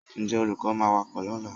Ǹjẹ́ olùkọ́ máa wá kọ́ wa lọ́la?